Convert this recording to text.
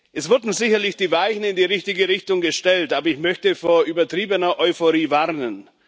Es wurden sicherlich die Weichen in die richtige Richtung gestellt, aber ich möchte vor übertriebener Euphorie warnen.